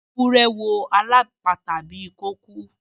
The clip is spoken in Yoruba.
Ewúrẹ́ wò alapata bí ko kú.